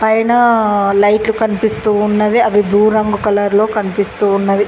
పైన లైట్లు కనిపిస్తూ ఉన్నది అవి బ్లూ రంగు కలర్ లో కనిపిస్తూ ఉన్నది.